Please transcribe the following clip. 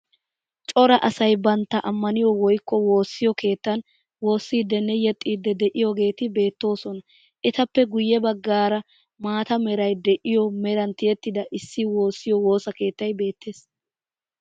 Cora asayi bantta amaniyo woyikko woossiyo keettan woossiiddinne yexxiiddi de'iyageeti beettoosona. Etappe guyye baggaara maata merayi de'iyo meran tiyettida eti woossiyo woosa keettay beettees.